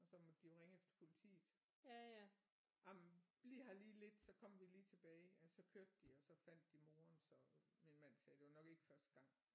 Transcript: Og så måtte de jo ringe efter politiet jamen bliv her lige lidt så kommer vi lige tilbage og så kørte de og så fandt de moren så min mand sagde det var nok ikke første gang